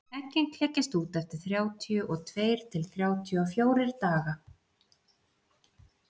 eggin klekjast út eftir þrjátíu og tveir til þrjátíu og fjórir daga